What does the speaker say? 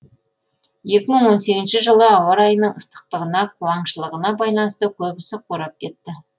екі мың он сегізінші жылы ауа райының ыстықтығына қуаңшылығына байланысты көбісі қурап кетті